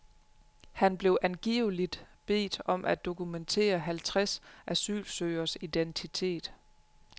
Han blev angiveligt bedt om at dokumentere halvtreds asylsøgeres identitet.